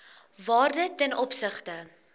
waarde ten opsigte